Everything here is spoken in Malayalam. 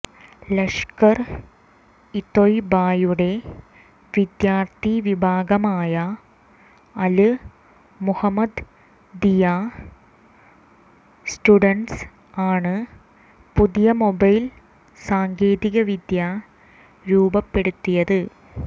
ലഷ്കര് ഇ തൊയ്ബയുടെ വിദ്യാര്ത്ഥിവിഭാഗമായ അല് മുഹമ്മദീയാ സ്റ്റുഡന്സ് ആണ് പുതിയ മൊബൈല് സാങ്കേതികവിദ്യ രൂപപ്പെടുത്തിയത്